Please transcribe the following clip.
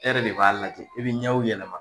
E yɛrɛ de b'a lajɛ i bi ɲɛw yɛlɛma